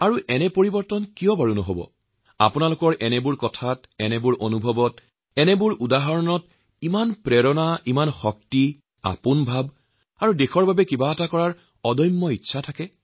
তদুপৰি সলনি নহবই কিয় আপোনালোকে পঠোৱা এই সকলো চিঠিৰ পাতে পাতে আপোনালোকৰ অনুভৱৰ কথা আপোনালোকৰ প্ৰেৰণা আপোনজনৰ ভাষা আৰু তাৰ লগতে নিজৰ মাতৃভূমিৰ প্ৰতি দায়বদ্ধতাৰ কথাও বাৰে বাৰে উচ্চাৰিত হৈছে